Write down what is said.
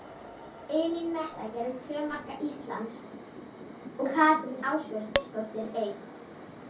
Elín Metta gerði tvö marka Íslands og Katrín Ásbjörnsdóttir eitt.